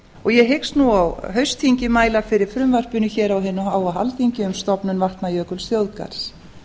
og ég hyggst nú á haustþingi mæla fyrir frumvarpinu hér á hinu háa alþingi um stofnun vatnajökulsþjóðgarðs